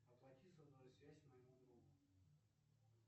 оплати сотовую связь моему другу